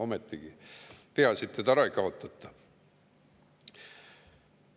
Peaasi, et seda ära ei kaotata.